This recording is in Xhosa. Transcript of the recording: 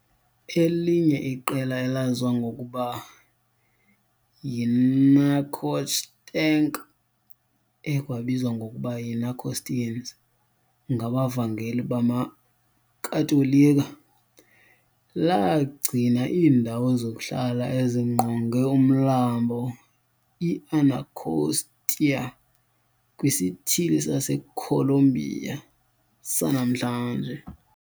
Elinye iqela elaziwa ngokuba yiNacotchtank, ekwabizwa ngokuba yiNacostines ngabavangeli bamaKatolika, lagcina iindawo zokuhlala ezingqonge uMlambo iAnacostia kwiSithili saseColumbia sanamhlanje.